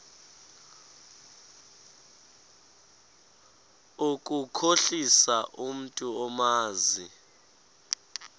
ukukhohlisa umntu omazi